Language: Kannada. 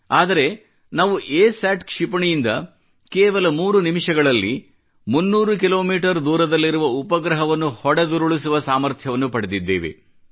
ಆದರೆ ನಾವು ಎಸ್ಯಾಟ್ ಕ್ಷಿಪಣಿಯಿಂದ ಕೇವಲ 3 ನಿಮಿಷಗಳಲ್ಲಿ 300 ಕಿಲೋಮೀಟರ್ ದೂರದಲ್ಲಿರುವ ಉಪಗ್ರಹವನ್ನು ಹೊಡೆದುರುಳಿಸುವ ಸಾಮರ್ಥ್ಯವನ್ನು ಪಡೆದಿದ್ದೇವೆ